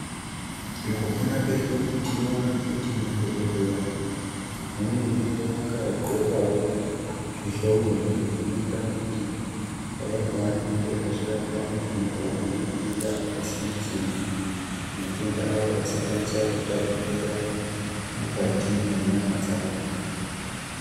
Mukupona kwedu, tinoona kuti madhokodheya, vanenge vakagqokawo, zvihlongo izvo zvinoita kuti, paya pevanenge veirapa vanthu vanorwara ngematenda akasiyana-siyana, kuti matenda avo asakwanisa kutapukira mukati mwenyama dzavo.